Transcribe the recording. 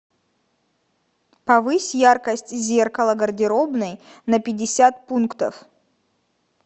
повысь яркость зеркала гардеробной на пятьдесят пунктов